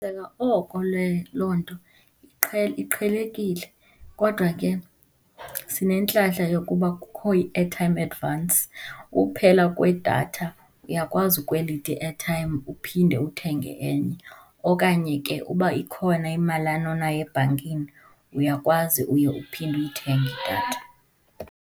oko le, loo nto iqhelekile kodwa ke sinentlahla yokuba kukho i-airtime advance. Ukuphela kwedatha uyakwazi ukwelite i-airtime uphinde uthenge enye, okanye ke uba ikhona imalana onayo ebhankini, uyakwazi uye uphinde uyithenge idatha.